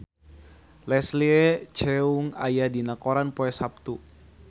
Leslie Cheung aya dina koran poe Saptu